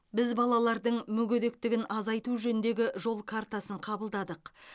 біз балалардың мүгедектігін азайту жөніндегі жол картасын қабылдадық